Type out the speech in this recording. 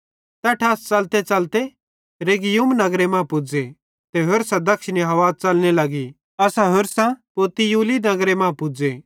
तैट्ठां असां च़लतेच़लते रेगियुम नगरे मां पुज़े ते होरसां दक्षिणी हवा च़लने लगी ते असां होरसां पुतियुली नगरे मां पुज़े